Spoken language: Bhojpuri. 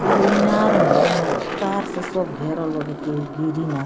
एगो इनार ह ऐमें तार से सब घेरल बा के केहू गिरी ना।